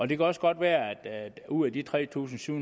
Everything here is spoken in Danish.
det kan også godt være at der ud af de tre tusind syv